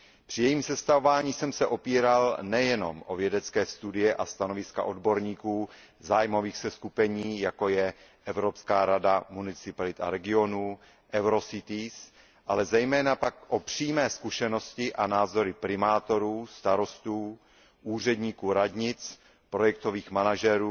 Při jejím sestavování jsem se opíral nejenom o vědecké studie a stanoviska odborníků zájmových seskupení, jako je Evropská rada municipalit a regionů EUROCITIES, ale zejména pak o přímé zkušenosti a názory primátorů, starostů, úředníků radnic, projektových manažerů